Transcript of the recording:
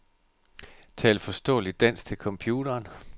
Tal forståeligt dansk til computeren.